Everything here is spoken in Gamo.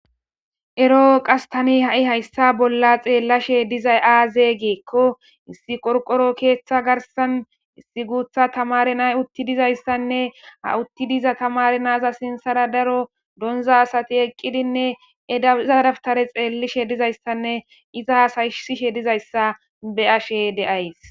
Eroo qas tani ha'i hayssa bolla xeellashe dizay aaze geekko issi qorqoro keeththa garsan issi guutha tamari nay utti dizayssanne ha utti diza tamari naza sinsara daro donza asati eqqidinne zaaraftare xeellishe dizayssanne iza hasaysishe dizayssa be ashe deays.